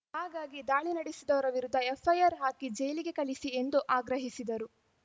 ಹಾಗಾಗಿ ದಾಳಿ ನಡಿಸಿದವರ ವಿರುದ್ಧ ಎಫ್‌ಐಆರ್‌ ಹಾಕಿ ಜೈಲಿಗೆ ಕಳಿಸಿ ಎಂದು ಆಗ್ರಹಿಸಿದರು